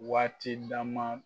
Waati dama.